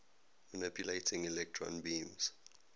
manipulating electron beams